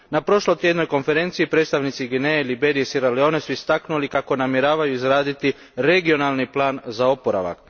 Na prošlotjednoj konferenciji predstavnici Gvineje, Liberije i Siera Leonea su istaknuli da namjeravaju izgraditi regionalni plan za oporavak.